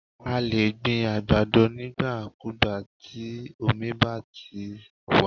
A lè gbin àgbàdo nígbà kúùgbà, tí omi bá ṣa ti wà.